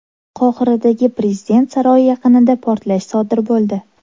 Qohiradagi prezident saroyi yaqinida portlash sodir bo‘ldi.